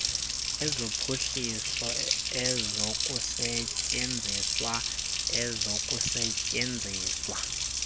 ezophuhliso ezokusetyenzwa ezokusetyenziswa